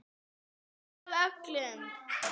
Mest af öllum.